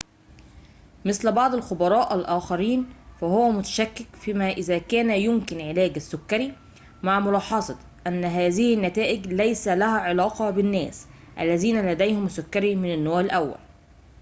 مثل بعض الخبراء الآخرين فهو متشكك فيما إذا كان يمكن علاج السكري مع ملاحظة أن هذه النتائج ليس لها علاقة بالناس الذين لديهم السكري من النوع الأول